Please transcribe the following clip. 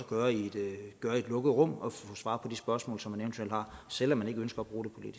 gøre i et lukket rum og få svar på de spørgsmål som man eventuelt har selv om man ikke ønsker